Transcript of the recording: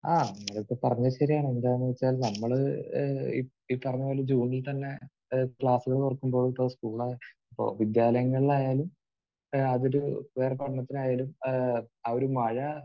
ആ അങ്ങനെ ഇപ്പോൾ പറഞ്ഞത് ശരിയാണ്. എന്താണെന്ന് വെച്ചാൽ നമ്മൾ ഏഹ് ഈ പറഞ്ഞത് പോലെ ജൂണിൽ തന്നെ ക്ലാസുകൾ തുറക്കുമ്പോൾ വിദ്യാലയങ്ങളിലായാലും ഏഹ് അത് ഒരു ഉപരിപഠനത്തിനായാലും ഏഹ് ആ ഒരു മഴ